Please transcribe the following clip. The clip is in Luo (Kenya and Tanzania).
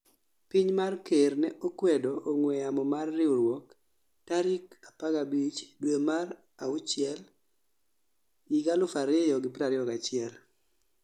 Piny ma ker ne okwedo ong'weyamo mar riwruok tarik 15 due mar achiel 2021